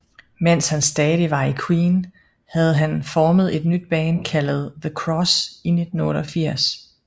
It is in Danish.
Mens han stadig var i Queen havde han formet et nyt band kaldet The Cross i 1988